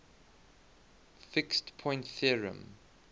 fixed point theorem